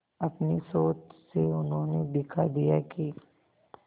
अपनी सोच से उन्होंने दिखा दिया कि